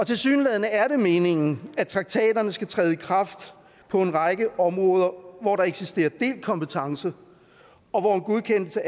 tilsyneladende er det meningen at traktaterne skal træde i kraft på en række områder hvor der eksisterer delt kompetence og hvor en godkendelse